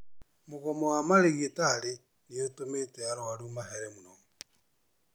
Mũgomo wa marigitarĩ nĩũtũmĩte arwaru mahere mũno